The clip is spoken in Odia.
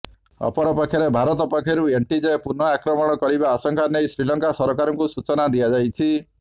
ଅପରପକ୍ଷରେ ଭାରତ ପକ୍ଷରୁ ଏନ୍ଟିଜେ ପୁନଃ ଆକ୍ରମଣ କରିବା ଆଶଙ୍କା ନେଇ ଶ୍ରୀଲଙ୍କା ସରକାରଙ୍କୁ ସୂଚନା ଦିଆଯାଇଛି